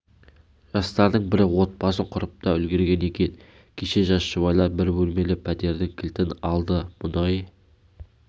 жастардың бірі отбасын құрып та үлгерген екен кеше жас жұбайлар бір бөлмелі пәтердің кілтін алды мұнай